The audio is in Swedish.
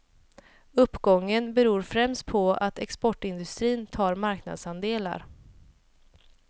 Uppgången beror främst på att exportindustrin tar marknadsandelar.